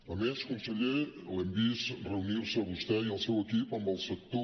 a més conseller l’hem vist reunir se a vostè i al seu equip amb el sector